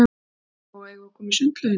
Lóa-Lóa, eigum við að koma í sundlaugina?